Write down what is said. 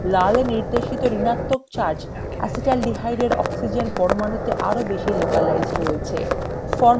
লাল এ নির্দেশিত ঋণাত্মক charge acetaldehyde এর oxygen পরমাণুতে আরো বেশি localized রয়েছে